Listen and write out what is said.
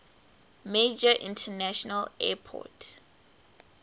major international airport